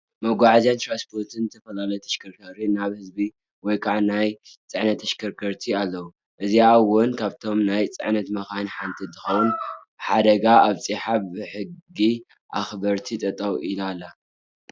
መጉዓዝያን ትራስፖርትን ዝተፈላለዩ ተሽከርከርቲ ናይ ህዝቢ ወይ ከዓ ናይ ፅዕነት ተሽከርከርቲ ኣለው። እዚኣ እውን ካብቶም ናይ ፅዕነት መካይን ሓደ እንትከውን ሓደጋ ኣብፅሓ ብሕጊ ኣክበርቲ ጠጠው ኢላ ኣላ።